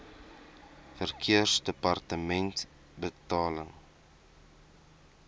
verkeersdepartementebetaling